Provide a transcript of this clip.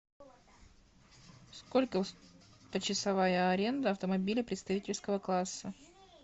сколько почасовая аренда автомобиля представительского класса